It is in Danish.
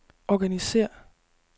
organisér